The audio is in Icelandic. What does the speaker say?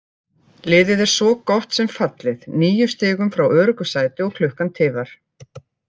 Liðið er svo gott sem fallið, níu stigum frá öruggu sæti og klukkan tifar.